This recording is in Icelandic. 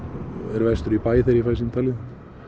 er vestur í bæ þegar ég fæ símtalið